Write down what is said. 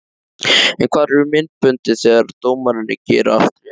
En hvar eru myndböndin þegar dómararnir gera allt rétt?